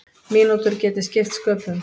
Mínútur geti skipt sköpum.